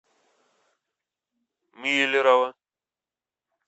миллерово